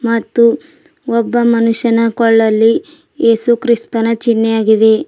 ಮತ್ತು ಒಬ್ಬ ಮನುಷ್ಯನ ಕೊಳ್ಳಲ್ಲಿ ಏಸು ಕ್ರಿಸ್ತನ ಚಿನ್ಹೆಯಾಗಿದೆ.